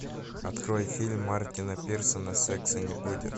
открой фильм мартина пирсона секса не будет